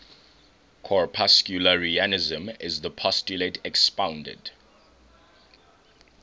corpuscularianism is the postulate expounded